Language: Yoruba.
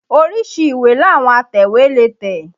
Oríṣi ìwé làwọn atẹ̀wé lè tẹ̀